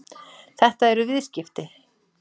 Þetta eru viðskipti.